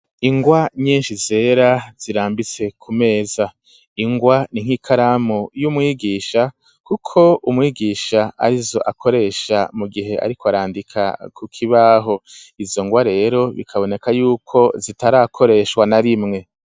Ingwa nyinshi zera zirambise ku meza, ingwa ni nk'ikaramu y'umwigisha, kuko umwigisha arizo akoresha mu gihe ariko arandika ku kibaho; izo ngwa rero bikaboneka y'uko zitarakoreshwa na rimwe.